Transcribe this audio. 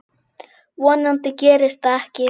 Vonandi gerist það ekki.